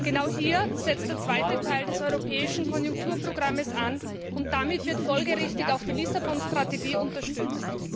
Genau hier setzt der zweite Teil des europäischen Konjunkturprogramms an, und damit wird folgerichtig auch die Lissabon Strategie unterstützt.